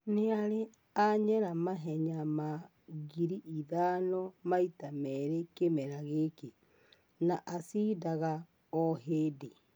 Nĩarĩ anyera mahenya ma ngiri ithano maita merĩ kĩmera gĩkĩ, na acindaga o hĩndĩ.